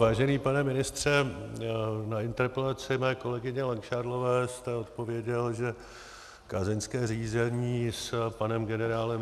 Vážený pane ministře, na interpelaci mé kolegyně Langšádlové jste odpověděl, že kázeňské řízení s panem generálem